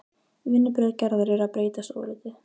Vinnubrögð Gerðar eru að breytast ofurlítið.